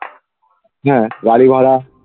হ্যাঁ গাড়ি ভাড়া